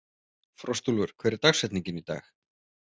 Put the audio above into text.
Frostúlfur, hver er dagsetningin í dag?